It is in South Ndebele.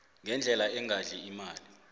ngendlela engadli imali